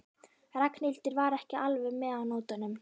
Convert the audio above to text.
Ragnhildur var ekki alveg með á nótunum.